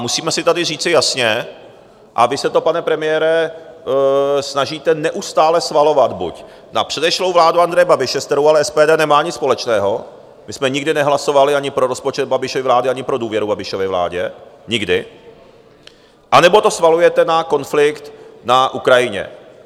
Musíme si tady říci jasně - a vy se to, pane premiére, snažíte neustále svalovat buď na předešlou vládu Andreje Babiše, s kterou ale SPD nemá nic společného, my jsme nikdy nehlasovali ani pro rozpočet Babišovy vlády, ani pro důvěru Babišově vládě, nikdy - nebo to svalujete na konflikt na Ukrajině.